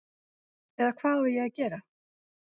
Eða hvað á að gera?